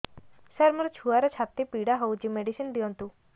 ସାର ମୋର ଛୁଆର ଛାତି ପୀଡା ହଉଚି ମେଡିସିନ ଦିଅନ୍ତୁ